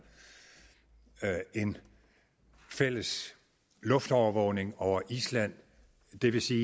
en fælles luftovervågning over island det vil sige